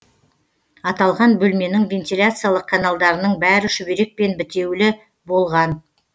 аталған бөлменің вентиляциялық каналдарының бәрі шүберекпен бітеулі болған